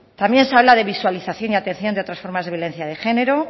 también se ha hablado de visualización y atención de otras formas de violencia de género